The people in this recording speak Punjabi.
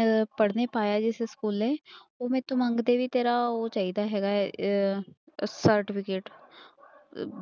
ਅਹ ਪੜ੍ਹਨੇ ਪਾਇਆ ਜਿਸ ਸਕੂਲੇ ਉਹ ਮੈਥੋਂ ਮੰਗਦੇ ਵੀ ਤੇਰਾ ਉਹ ਚਾਹੀਦਾ ਹੈਗਾ ਹੈ ਅਹ certificate